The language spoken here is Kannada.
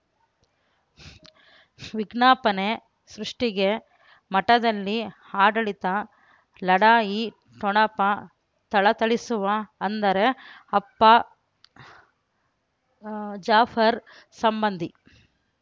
ವಿಜ್ಞಾಪನೆ ಸೃಷ್ಟಿಗೆ ಮಠದಲ್ಲಿ ಆಡಳಿತ ಲಢಾಯಿ ಠೊಣಪ ಥಳಥಳಿಸುವ ಅಂದರೆ ಅಪ್ಪ ಜಾಫರ್ ಸಂಬಂಧಿ